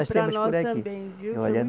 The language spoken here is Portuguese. E para nós também, viu